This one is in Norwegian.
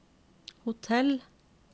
hotell